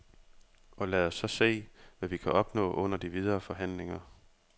Og lad os så se, hvad vi kan opnå under de videre forhandlinger.